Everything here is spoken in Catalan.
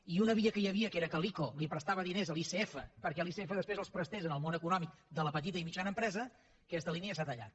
i una via que hi havia que era que l’ico prestava diners a l’icf perquè l’icf després els prestés al món econòmic de la petita i mitjana empresa aquesta línia s’ha tallat